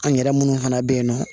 An yɛrɛ minnu fana bɛ yen nɔ